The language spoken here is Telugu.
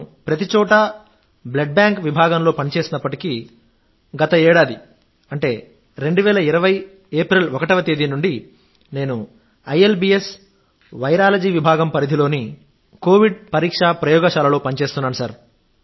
నేను ప్రతిచోటా బ్లడ్ బాంక్ విభాగంలో పనిచేసినప్పటికీ గత ఏడాది 2020 ఏప్రిల్ 1 వా తేదీ నుండి నేను ఐఎల్బీఎస్ వైరాలజీ విభాగం పరిధిలోని కోవిడ్ పరీక్షా ప్రయోగశాలలో పనిచేస్తున్నాను